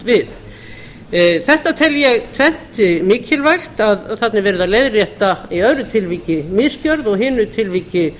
við þetta tvennt tel ég mikilvægt að þarna er verið að leiðrétta í öðru tilviki misgjörð og í hinu tilviki